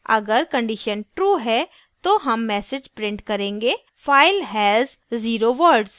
अगर condition true है तो हम message print करेंगे file has zero words